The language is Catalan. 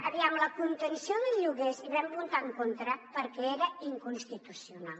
aviam a la contenció del lloguers hi vam votar en contra perquè era inconstitucional